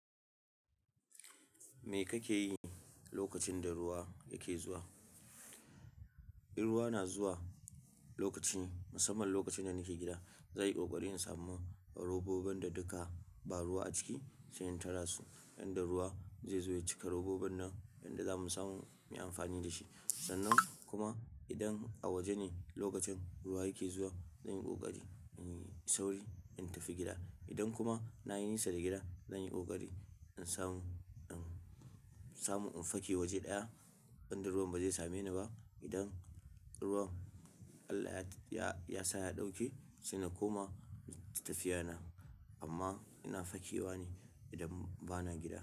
Me kake yi lokacin da ruwa yake zuwa? In ruwa na zuwa lokacin, musamman lokacin da nake gida, zanyi ƙoƙari in samu robobun da duka ba ruwa a ciki, sai in tara su yanda ruwa zai zo ya cika robobun nan yanda zamu samu mu yi amfani da shi. Sannan kuma idan a waje ne lokacin ruwa yake zuwa, zanyi ƙoƙari in yi sauri in tafi gida. Idan kuma na yi nisa da gida, zanyi ƙoƙari in samu, in samu in fake waje ɗaya inda ruwan ba zai same ni ba. Idan ruwan Allah ya, ya sa ya ɗauke, saina koma tafiya na. Amma ina fakewa ne idan bana gida.